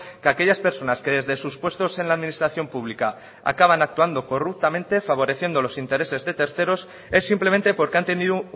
que aquellas personas que desde sus puestos en la administración pública acaban actuando corruptamente favoreciendo los intereses de terceros es simplemente porque han tenido